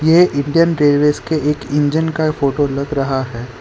ये Indian railways के एक इंजन का फोटो लग रहा है।